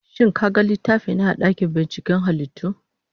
Shin ka gan littafina a dakin binciken halittu?